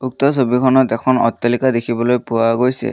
উক্ত ছবিখনত এখন অট্টালিকা দেখিবলৈ পোৱা গৈছে।